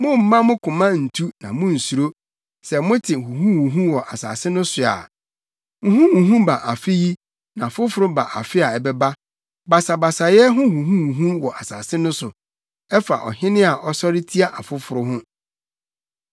Mommma mo koma ntu na munnsuro sɛ mote huhuhuhu wɔ asase no so a; huhuhuhu ba afe yi na foforo ba afe a ɛbɛba, basabasayɛ ho huhuhuhu wɔ asase no so ɛfa ɔhene a ɔsɔre tia ɔfoforo ho.